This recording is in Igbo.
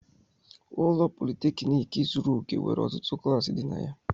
Ụlọ Politékiniki zuru òke nwere ọtụtụ klasi di na ya